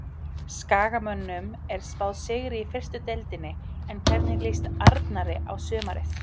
Skagamönnum er spáð sigri í fyrstu deildinni en hvernig líst Arnari á sumarið?